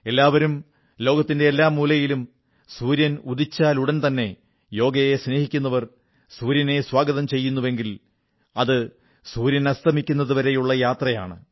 എല്ലാവരും ലോകത്തിന്റെ എല്ലാ മൂലയിലും സൂര്യൻ ഉദിച്ചയുടൻതന്നെ യോഗയെ സ്നേഹിക്കുന്നവർ സൂര്യനെ സ്വാഗതം ചെയ്യുന്നുവെങ്കിൽ അത് സൂര്യൻ അസ്തമിക്കുന്നതുവരെയുള്ള യാത്രയാണ്